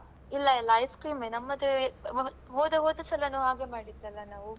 ಇಲ್ಲ ಇಲ್ಲ ice-cream ಎ ನಮ್ಮದು ಹೋದ ಹೋದಸಲನು ಹಾಗೆ ಮಾಡಿದಲ್ಲ ನಾವೂ.